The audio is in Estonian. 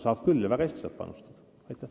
Saab küll ja väga hästi.